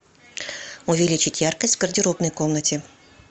увеличь яркость в гардеробной комнате